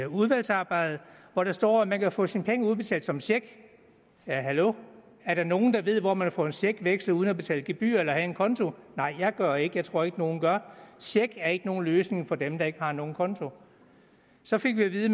udvalgsarbejdet hvor der står at man kan få sine penge udbetalt som check ja hallo er der nogen der ved hvor man får en check vekslet uden at betale gebyr eller have en konto nej jeg gør ikke jeg tror ikke at nogen gør check er ikke nogen løsning for dem der ikke har nogen konto så fik vi at vide